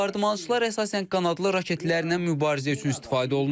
Bombardmançılar əsasən qanadlı raketlərlə mübarizə üçün istifadə olunur.